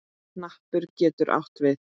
Hnappur getur átt við